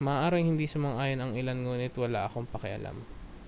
maaaring hindi sumang-ayon ang ilan ngunit wala akong pakialam